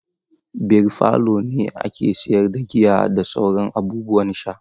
Beer parlour ne ake siyar da giya da sauran abubuwan sha.